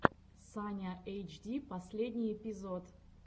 саня эйчди последний эпизод